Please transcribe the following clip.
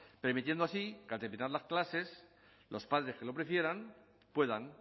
permitiendo así que al terminar las clases los padres que lo prefieran puedan